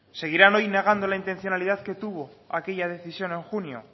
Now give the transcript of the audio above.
seguirán hoy negando la intencionalidad que tuvo aquella decisión en junio